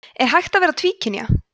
er hægt að vera tvíkynja